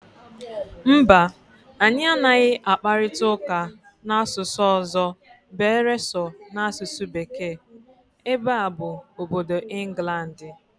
Mba, anyị anaghị akparịta ụka n'asụsụ ọzọ beere so n'asụsụ Bekee, ebe a bụ obodo Ịnglandị